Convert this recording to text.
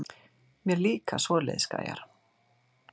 Mér líka svoleiðis gæjar.